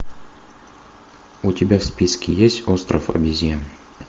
у тебя в списке есть остров обезьян